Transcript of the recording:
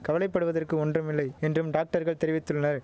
கவலைப்படுவதற்கு ஒன்றும்யில்லை என்றும் டாக்டர்கள் தெரிவித்துள்ளனர்